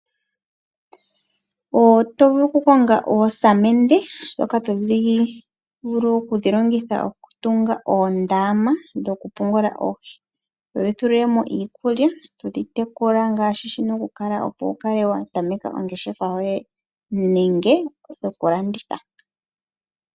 Oto vulu okukonga oosamende dhoka to vulu okudhilongitha, oku tunga oondama dhokupungula oohi, todhi tu lilemo iikulya, todhi tekula ngashi shina okukala opo wu kale wa tameka ongeshefa yoye nenge dhokulanditha.